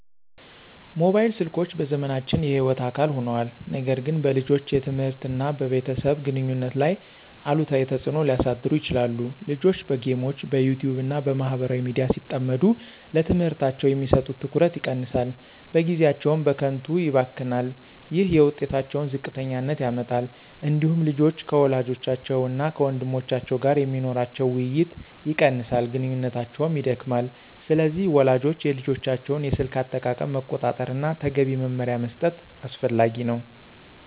ሞባይል ስልኮች በዘመናችን የሕይወት አካል ሆነዋል፣ ነገር ግን በልጆች የትምህርት እና በቤተሰብ ግንኙነት ላይ አሉታዊ ተጽዕኖ ሊያሳድሩ ይችላሉ። ልጆች በጌሞች፣ በYouTube እና በማህበራዊ ሚዲያ ሲጠመዱ ለትምህርታቸው የሚሰጡት ትኩረት ይቀንሳል፣ ጊዜያቸውም በከንቱ ይባክናል። ይህ የውጤታቸውን ዝቅተኛነት ያመጣል። እንዲሁም ልጆች ከወላጆቻቸው እና ከወንድሞቻቸው ጋር የሚኖራቸው ውይይት ይቀንሳል፣ ግንኙነታቸውም ይደክማል። ስለዚህ ወላጆች የልጆቻቸውን የስልክ አጠቃቀም መቆጣጠር እና ተገቢ መመሪያ መስጠት አስፈላጊ ነው።